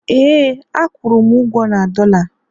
ee, a kwụrụ m ugwo na dollar